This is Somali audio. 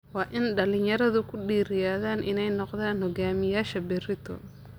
Waa in dhalinyaradu ku dhiiradaan inay noqdaan hogaamiyayaasha berrito.